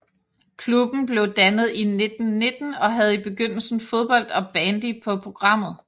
Klubben blev dannet i 1919 og havde i begyndelsen fodbold og bandy på programmet